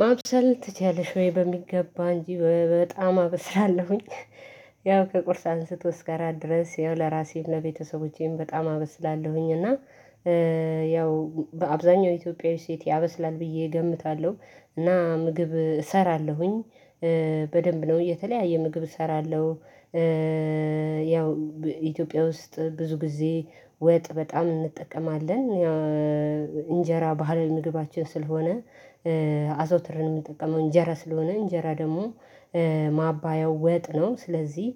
ማብሰል ትችላለሽ ወይ? በሚገባ እንጂ በጣም አበስላለሁኝ። ያው ከቁርስ አንስቶ እስከ እራት ድረስ ይኸው ለራሴም ለቤተሰቦቼም በጣም አበስላለሁኝ እና ያው በአብዛኛው ኢትዮጵያዊ ሴት ያበስላል ብዬ እገምታለሁ እና ምግብ እሰራለሁኝ በደንብ ነው የተለያየ ምግብ እሰራለሁ። ያው ኢትዮጵያ ውስጥ ብዙ ጊዜ ወጥ በጣም እንጠቀማለን፤ ያው እንጀራ ባህላዊ ምግባችን ስለሆነ፤ አዘውትርን የምንጠቀመው እንጀራ ስለሆነ እንጀራ ደግሞ ማባያው ወጥ ነው። ስለዚህ